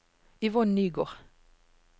Yvonne Nygård